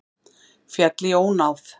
Féll í ónáð